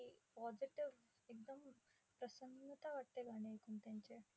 एक positive एकदम प्रसन्नता वाटते गाणे ऐकून त्यांचे.